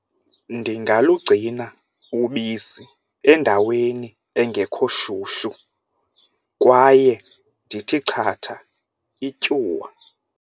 Ndingalugcina ubisi endaweni engekho shushu kwaye ndithi chatha ityuwa.